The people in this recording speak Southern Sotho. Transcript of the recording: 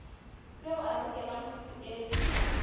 seo o lokelang ho se